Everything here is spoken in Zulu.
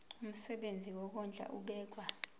umsebenzi wokondla ubekwa